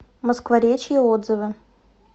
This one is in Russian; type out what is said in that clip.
москворечье отзывы